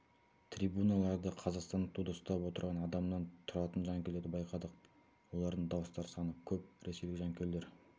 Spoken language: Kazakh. трибуналарда қазақстандық туды ұстап отырған адамнан тұратын жанкүйлерді байқадық олардың дауыстары саны көп ресейлік жанкүйерлер